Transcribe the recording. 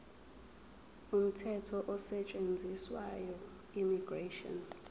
umthetho osetshenziswayo immigration